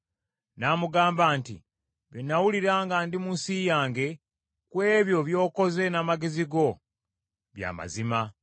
N’amugamba nti, “Bye nawulira nga ndi mu nsi yange, ku ebyo by’okoze n’amagezi go, bya mazima.